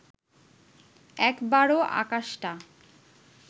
একবারও আকাশটা